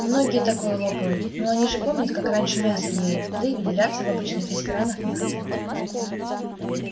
многие такое лопают ну они же помнят как раньше мясо ели да и выделяться в обычных ресторанах не хотят